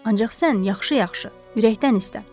Ancaq sən yaxşı-yaxşı, ürəkdən istə.